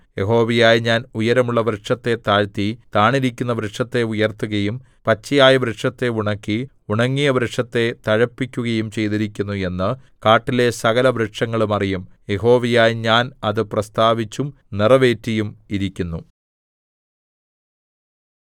യഹോവയായ ഞാൻ ഉയരമുള്ള വൃക്ഷത്തെ താഴ്ത്തി താണിരുന്ന വൃക്ഷത്തെ ഉയർത്തുകയും പച്ചയായ വൃക്ഷത്തെ ഉണക്കി ഉണങ്ങിയ വൃക്ഷത്തെ തഴപ്പിക്കുകയും ചെയ്തിരിക്കുന്നു എന്ന് കാട്ടിലെ സകലവൃക്ഷങ്ങളും അറിയും യഹോവയായ ഞാൻ അത് പ്രസ്താവിച്ചും നിറവേറ്റിയും ഇരിക്കുന്നു